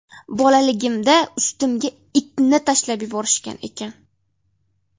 Bolaligimda ustimga itni tashlab yuborishgan ekan.